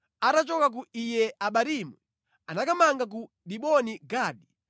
Atachoka ku Iye-Abarimu anakamanga ku Diboni Gadi.